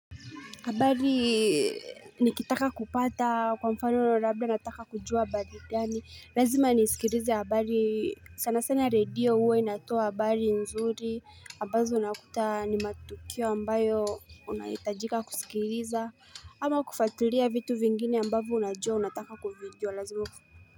Habari nikitaka kupata kwa mfano labda nataka kujua habari gani. Lazima nisikilize habari sana sana radio huwa inatoa habari nzuri. Ambazo unakuta ni matukio ambayo unahitajika kusikiliza. Ama kufuatulia vitu vingine ambavyo unajua unataka kuvijua lazima.